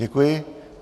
Děkuji.